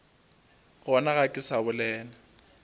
gona ga ke sa bolela